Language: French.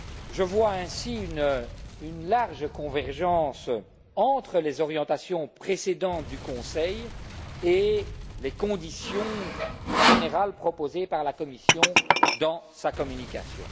Je vois ainsi une large convergence entre les orientations précédentes du Conseil et les conditions générales proposées par la Commission dans sa communication.